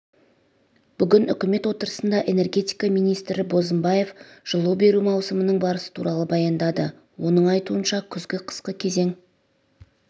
бүгін үкімет отырысында энергетика министрі бозымбаев жылу беру маусымының барысы туралы баяндады оның айтуынша күзгі-қысқы кезең